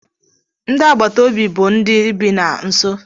Ndị agbata obi bụ ndị bi ha nso.